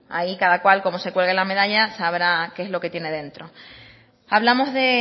ahí cada cual cómo se cuelgue la medalla sabrá qué es lo que tiene dentro hablamos de